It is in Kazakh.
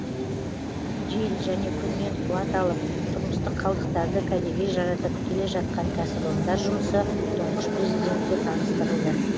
жел және күннен қуат алып тұрмыстық қалдықтарды кәдеге жаратып келе жатқан кәсіпорындар жұмысы тұңғыш президентке таныстырылды